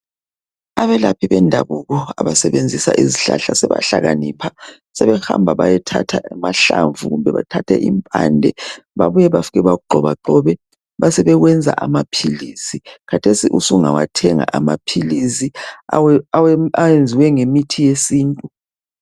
Abelaphi bendabuko abasebenzisa izihlahla sebahlakanipha sebehamba bayethatha amahlamvu kumbe impande bafike bakugxobagxobe besebekwenza amaphilisi khathesi usungawathenga amaphilisi ayenziwe ngemithi yesintu.